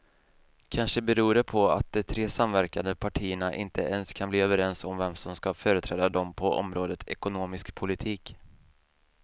Kanske beror det på att de tre samverkande partierna inte ens kan bli överens om vem som ska företräda dem på området ekonomisk politik.